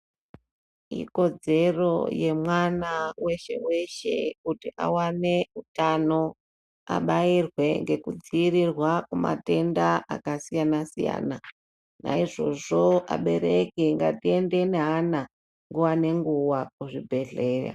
Ikodzero yemwana weshe weshe kuti awane utano abairwe ngekudziirirwa kumatenda akasiyana siyana naizvozvo abereki ngatiende neana nguwa ngenguwa kuzvibhedhleya.